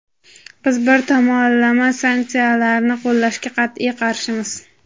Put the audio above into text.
Biz bir tomonlama sanksiyalarni qo‘llashga qat’iy qarshimiz.